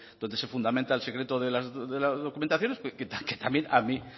donde se fundamenta el secreto de las documentaciones que también a mí